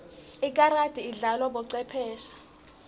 ikarati idlalwa bocwepheshe